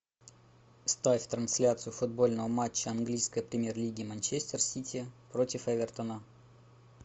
ставь трансляцию футбольного матча английской премьер лиги манчестер сити против эвертона